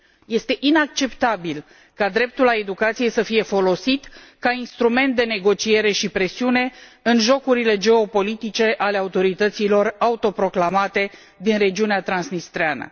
Este inacceptabil ca dreptul la educație să fie folosit ca instrument de negociere și presiune în jocurile geopolitice ale autorităților autoproclamate din regiunea transnistreană.